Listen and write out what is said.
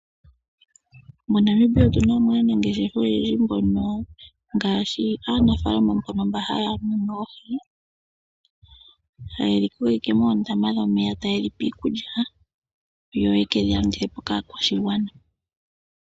MoNamibia otu namo aanangeshefa oyendji mbono ngaashi aanafaalama mbono mba haya munu oohi. Ha yedhi tula ike moondama dhomeya ta yedhi pe iikulya yo ye kedhi landithepo kaakwashigwana.